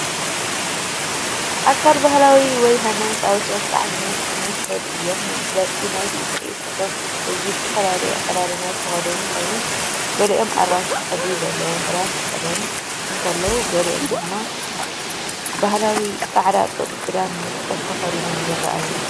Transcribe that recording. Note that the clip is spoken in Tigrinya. ኣካል ባህላዊ ወይ ሃይማኖታዊ ስነ-ስርዓት ዝመስሉ እዮም። መግለጺ ናይቲ ትርኢት እቶም ህዝቢ ብዝተፈላለየ ኣከዳድና ዝተኸድኑ ኮይኖም፡ ገሊኦም ኣራንሺ ሕብሪ ዘለዎ ክዳን ክኽደኑ እንከለዉ፡ ገሊኦም ድማ ባህላዊ ጻዕዳ ጡጥ ክዳን (ንጽል) ተኸዲኖም ይረኣዩ።